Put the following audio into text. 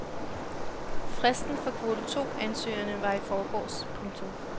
Fristen for kvote to ansøgningerne var i forgårs. punktum